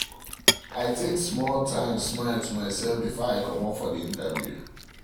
i take um small um timesmile to myself before i um comot for the interview